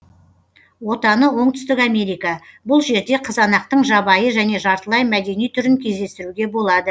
отаны оңтүстік америка бұл жерде қызанақтың жабайы және жартылай мәдени түрін кездестіруге болады